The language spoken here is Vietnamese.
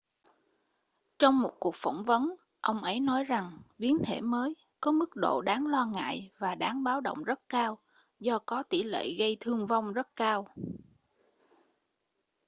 trong một cuộc phỏng vấn ông ấy nói rằng biến thể mới có mức độ đáng lo ngại và đáng báo động rất cao do có tỷ lệ gây thương vong rất cao